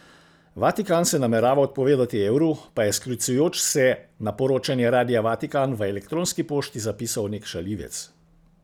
Vatikan se namerava odpovedati evru, pa je sklicujoč se na poročanje Radia Vatikan v elektronski pošti zapisal nek šaljivec.